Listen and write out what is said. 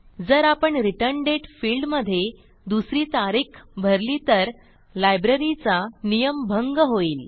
जर आपण रिटर्न दाते fieldमधे दुसरी तारीख भरली तर लायब्ररीचा नियमभंग होईल